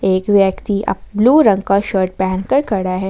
एक व्यक्ति अप ब्लू रंग का शर्ट पहनकर खड़ा है।